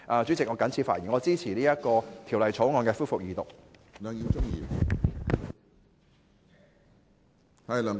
主席，我謹此陳辭，支持二讀《條例草案》。